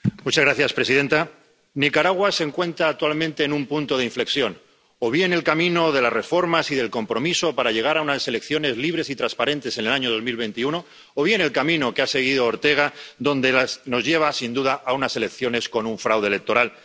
Señora presidenta, Nicaragua se encuentra actualmente en un punto de inflexión o bien el camino de las reformas y del compromiso para llegar a unas elecciones libres y transparentes en el año 2021, o bien el camino que ha seguido Ortega, que nos lleva, sin duda, a unas elecciones con un fraude electoral.